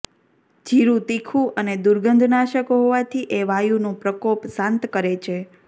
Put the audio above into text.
જીરું તીખું અને દુર્ગંધનાશક હોવાથી એ વાયુનો પ્રકોપ શાંત કરે છે